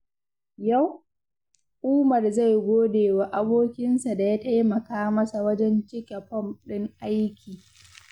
Yau, Umar zai gode wa abokinsa da ya taimaka masa wajen cike fom ɗin aiki.